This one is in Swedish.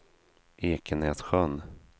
Ekenässjön